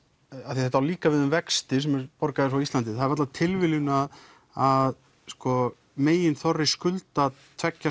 því að þetta á líka við um vexti sem eru borgaðir frá Íslandi það er varla tilviljun að meginþorri skulda tveggja